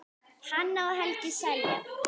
Hanna og Helgi Seljan.